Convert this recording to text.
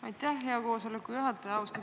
Aitäh, hea koosoleku juhataja!